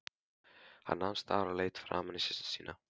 Hann nam staðar og leit framan í systur sína.